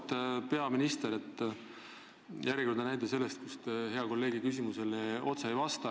Auväärt peaminister, järjekordne näide teilt, kus te hea kolleegi küsimusele otse ei vasta.